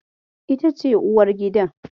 Ita ce uwargidan?